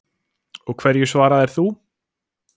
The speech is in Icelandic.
Og hverju svaraðir þú?